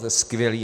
To je skvělé.